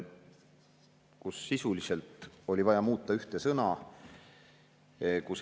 Sisuliselt oli vaja muuta ühte sõna.